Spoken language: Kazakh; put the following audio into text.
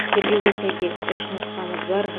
тергеуге сәйкес үш нұсқамыз бар